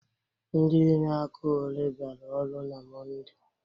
Ndị inye aka ole biara ọrụ na Mọnde?